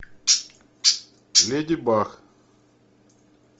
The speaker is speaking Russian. леди баг